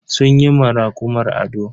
Sun yi ma rakumar ado.